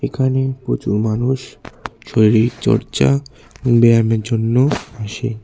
এখানে প্রচুর মানুষ শরীরচর্চা ব্যায়ামের জন্য আসে।